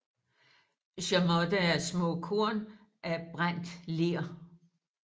Chamotte er små korn af brændt ler